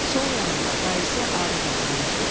Sol yanında dayısı Aruz oturmuşdu.